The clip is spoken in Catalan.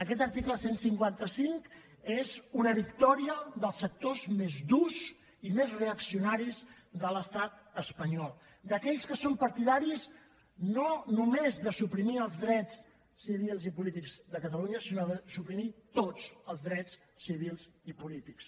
aquest article cent i cinquanta cinc és una victòria dels sectors més durs i més reaccionaris de l’estat espanyol d’aquells que són partidaris no només de suprimir els drets civils i polítics de catalunya sinó de suprimir tots els drets civils i polítics